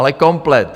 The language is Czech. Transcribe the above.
Ale komplet.